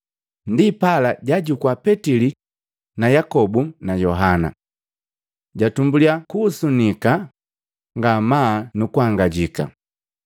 Ndipala jaajukua Petili na Yakobu na Yohana. Jatumbulya kuhusunika ngamaa nu kuangajika.